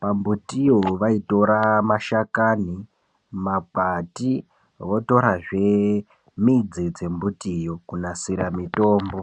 pambutiyo vaitora mashakani, makwati votorazve mbudzi dzembutiyo kunasira mitombo.